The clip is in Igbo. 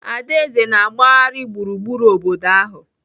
Adaeze na-agbagharị gburugburu obodo ahụ.